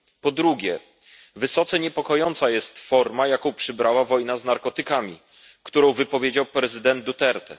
Po drugie, wysoce niepokojąca jest forma, jaką przybrała wojna z narkotykami, którą wypowiedział prezydent Duterte.